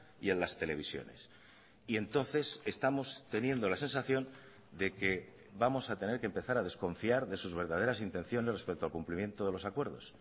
y en las televisiones y entonces estamos teniendo la sensación de que vamos a tener que empezar a desconfiar de sus verdaderas intenciones respecto al cumplimiento de los acuerdos